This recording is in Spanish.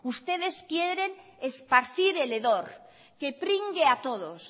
ustedes quieren esparcir el hedor que pringue a todos